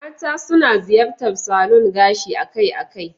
Mata suna ziyartar salon gashi akai-akai.